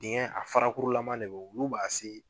Dingɛ a fara kuru lama de bo olu b'a se